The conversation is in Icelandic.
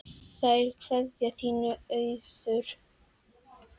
Kær kveðja, þín Auður